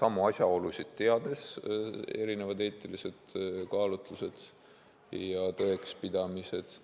samu asjaolusid teades on erinevad eetilised kaalutlused ja tõekspidamised.